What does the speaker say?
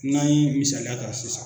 N'an ye misaliya ta sisan.